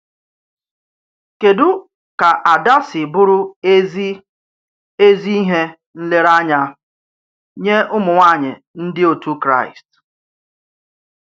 Kèdù ka Ádà sì bụrụ èzí èzí íhè nlèrèáńyà nye umụ̀nwàànyị ndị otú Kráị́st?